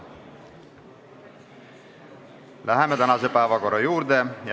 Läheme tänase päevakorra juurde.